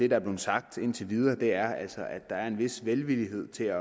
er blevet sagt indtil videre er altså at der er en vis velvillighed til at